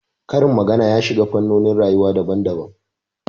Karin magana ya shiga fannonin rayuwa daban daban